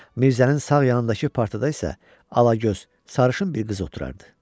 Mirzənin sağ yanındakı partda isə alagöz, sarışın bir qız oturardı.